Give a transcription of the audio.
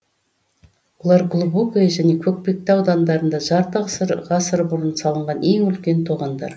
олар глубокое және көкпекті аудандарында жарты ғасыр бұрын салынған ең үлкен тоғандар